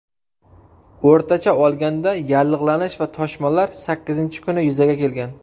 O‘rtacha olganda yallig‘lanish va toshmalar sakkizinchi kuni yuzaga kelgan.